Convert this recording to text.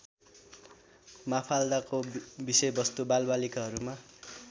माफाल्दाको विषयवस्तु बालबालिकाहरूमा